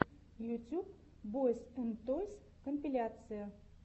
ютюб бойз энд тойс компиляция